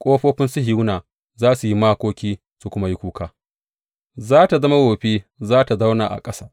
Ƙofofin Sihiyona za su yi makoki su kuma yi kuka; za tă zama wofi, za tă zauna a ƙasa.